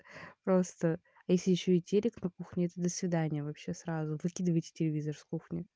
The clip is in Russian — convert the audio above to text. просто а если ещё и телек на кухне до свидания вообще сразу выкидывайте телевизор с кухни